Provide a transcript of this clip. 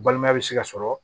Balimaya bɛ se ka sɔrɔ